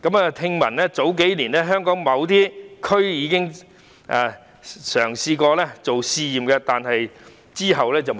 據聞，數年前香港某些地區已經嘗試進行類似試驗，最後卻不了了之。